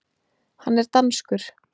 Hann er danskur.